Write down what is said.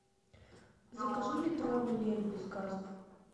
закажи литровый лель без газов